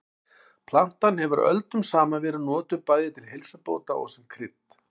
Plantan hefur öldum saman verið notuð bæði til heilsubóta og sem krydd.